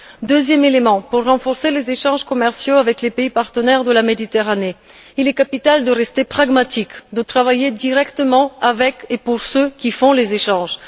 Deuxième élément afin de renforcer les échanges commerciaux avec les pays partenaires de la Méditerranée, il est capital de rester pragmatique, de travailler directement avec et pour ceux qui réalisent les échanges.